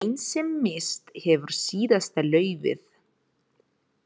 Grein sem misst hefur síðasta laufið.